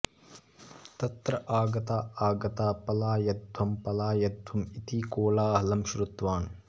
तत्र आगता आगता पलायध्वं पलायध्वम् इति कोलाहलं श्रुतवान्